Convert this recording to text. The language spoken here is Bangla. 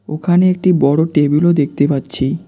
ওখানে একটি বড়ো টেবিলও দেখতে পাচ্ছি।